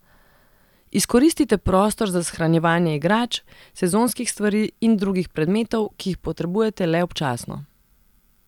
Izkoristite prostor za shranjevanje igrač, sezonskih stvari in drugih predmetov, ki jih potrebujete le občasno.